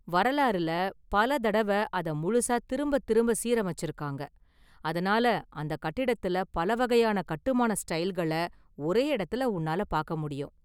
வரலாறுல பல தடவ அத முழுசா திரும்ப திரும்ப சீரமைச்சு இருக்காங்க, அதனால அந்த கட்டிடத்துல பல வகையான கட்டுமான ஸ்டைல்கள ஒரே எடத்துல உன்னால பாக்க முடியும்.